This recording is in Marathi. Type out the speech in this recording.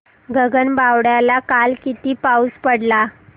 गगनबावड्याला काल किती पाऊस पडला